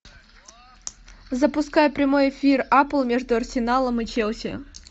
запускай прямой эфир апл между арсеналом и челси